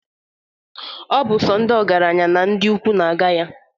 Ọ bụ sọ ndị ọgaranya na ndị ukwu na-aga ya.